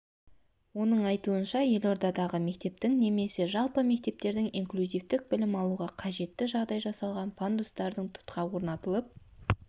оның айтуынша елордадағы мектептің немесе жалпы мектептердің инклюзивтік білім алуға қажетті жағдай жасалған пандустар тұтқа орнатылып